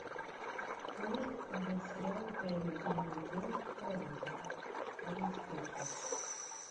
можешь показать сериал тайный дневник девушки по вызову четырнадцатая часть